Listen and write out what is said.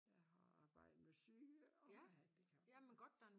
Jeg har arbejdet med syge og med handicappede